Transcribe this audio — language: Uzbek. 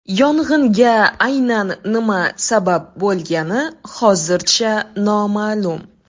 Yong‘inga aynan nima sabab bo‘lgani hozircha noma’lum.